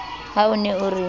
ha o ne o re